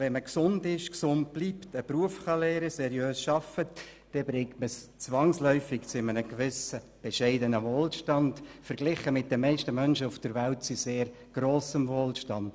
Wenn man gesund ist und gesund bleibt, einen Beruf lernen und seriös arbeiten kann, bringt man es zwangsläufig zu einem gewissen bescheidenen Wohlstand, verglichen mit den meisten Menschen auf der Welt sogar zu sehr grossem Wohlstand.